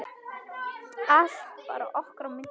Allt bara okkar á milli.